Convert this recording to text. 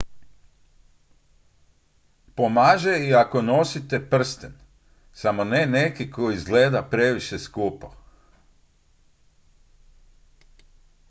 pomaže i ako nosite prsten samo ne neki koji izgleda previše skupo